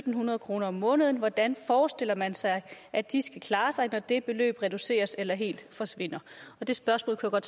hundrede kroner om måneden hvordan forestiller man sig at de skal klare sig når det beløb reduceres eller helt forsvinder det spørgsmål kunne